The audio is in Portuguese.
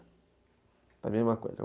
Está a mesma coisa.